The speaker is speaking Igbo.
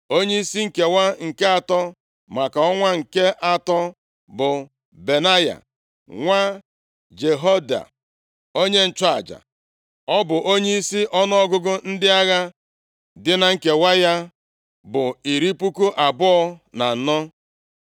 Onyeisi nkewa nke atọ, maka ọnwa nke atọ bụ Benaya nwa Jehoiada, onye nchụaja. Ọ bụ onyeisi, ọnụọgụgụ ndị agha dị na nkewa ya bụ iri puku abụọ na anọ (24,000).